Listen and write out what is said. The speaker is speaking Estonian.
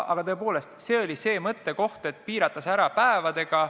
Aga tõepoolest, selline oli mõttekoht, kas piirata see ära päevadega.